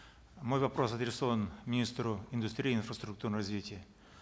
мой вопрос адресован министру индустрии и инфраструктурного развития